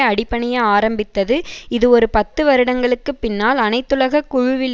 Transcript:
அடிபணிய ஆரம்பித்தது இது ஒரு பத்து வருடங்களுக்கு பின்னால் அனைத்துலக குழுவில்